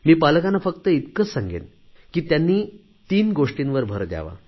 मी पालकांना फक्त इतकेच सांगेन की त्यांनी तीन गोष्टींवर भर द्यावा